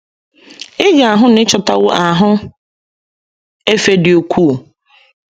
Ị ga - ahụ na ị chọtawo ahụ efe dị ukwuu.